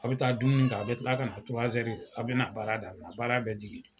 A bɛ taa dumuni kɛ a bɛ tila ka na a bɛ na baara daminɛ, baara bɛ jigin